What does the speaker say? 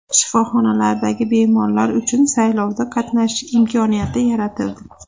Shifoxonalardagi bemorlar uchun saylovda qatnashish imkoniyati yaratildi.